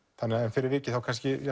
fyrir vikið þá